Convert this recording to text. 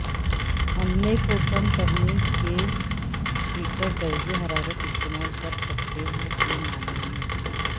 عملے کو کم کرنے کے ہیٹر درجہ حرارت استعمال کر سکتے ہیں کے معاملے میں